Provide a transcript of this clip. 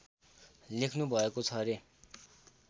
लेख्नु भएको छ रे